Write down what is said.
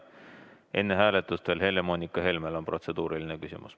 Enne hääletust on Helle-Moonika Helmel veel protseduuriline küsimus.